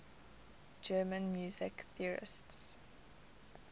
german music theorists